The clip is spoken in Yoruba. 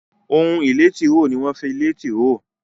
Ohun ìlé tìróò ní wón fí lẹ tìróò